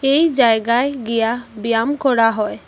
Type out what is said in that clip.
এই জায়গায় গিয়া ব্যায়াম করা হয়।